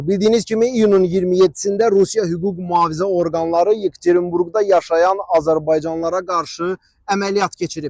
Bildiyiniz kimi iyunun 27-də Rusiya hüquq-mühafizə orqanları Yekaterinburqda yaşayan azərbaycanlılara qarşı əməliyyat keçirib.